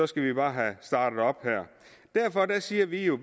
skal vi bare have startet op her derfor siger vi jo